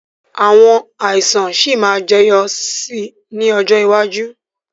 Àwọn àìsàn sì máa jẹyọ sì ni ọjọ́ iwájú